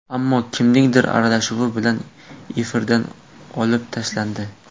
Ammo kimningdir aralashuvi bilan efirdan olib tashlandi.